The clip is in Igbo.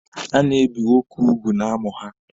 A na-ebi nwoke ugwu n'amụ ha.